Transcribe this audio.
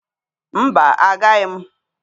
Mba, agaghị m.